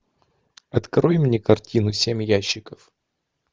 открой мне картину семь ящиков